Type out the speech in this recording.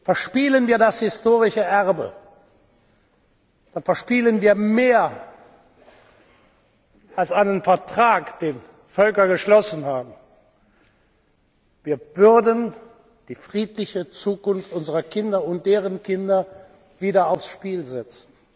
alle! Verspielen wir das historische Erbe, dann verspielen wir mehr als einen Vertrag, den Völker geschlossen haben Wir würden die friedliche Zukunft unserer Kinder und deren Kinder wieder aufs Spiel